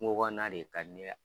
Kungo kɔnɔna de ka di ne ya.